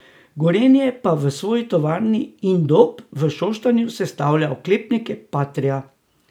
Gorenje pa v svoji tovarni Indop v Šoštanju sestavlja oklepnike patria.